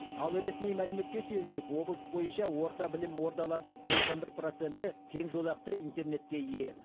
ал ресми мәліметке сүйенсек облыс бойынша орта білім ордаларының тоқсан бір проценті кең жолақты интернетке ие